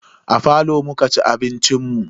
A falo muka ci abincin mu.